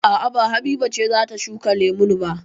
A'a ba Habiba ce za ta shuka lemun ba.